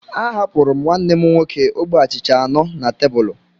A hapuru m nwanne m nwoke ogbe achịcha anọ na tebụl